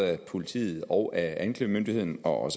af politiet og anklagemyndigheden og